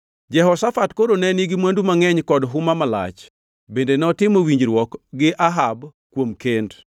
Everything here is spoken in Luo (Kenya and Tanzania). Jehoshafat koro ne nigi mwandu mangʼeny kod huma malach, bende notimo winjruok gi Ahab kuom kend.